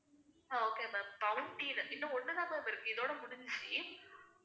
அஹ் okay ma'am இன்னும் ஒண்ணு தான் ma'am இருக்கு இதோட முடிஞ்சிச்சு.